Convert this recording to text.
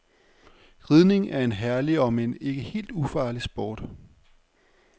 Ridning er en herlig omend ikke helt ufarlig sport.